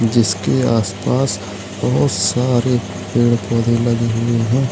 जिसके आसपास बहोत सारे पेड़ पौधे लगे हुए हैं।